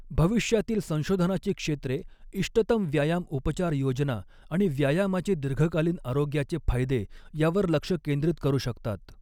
भविष्यातील संशोधनाची क्षेत्रे इष्टतम व्यायाम उपचार योजना आणि व्यायामाचे दीर्घकालीन आरोग्याचे फायदे यावर लक्ष केंद्रित करू शकतात.